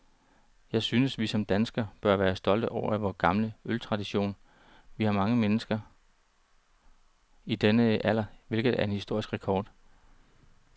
Jeg synes, vi som danskere bør være stolte af vor gamle øltradition. Vi har mange mennesker i denne alder, hvilket er en historisk rekord.